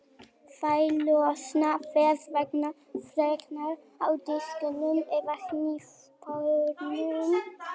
Þær losna þess vegna frekar af disknum eða hnífapörunum.